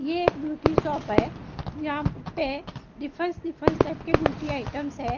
ये एक beauty shop है यहां पे डिफरेंस डिफरेंस टाइप के ब्यूटी आइटम्स है।